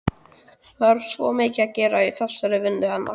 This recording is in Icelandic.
Það er svo mikið að gera í þessari vinnu hennar.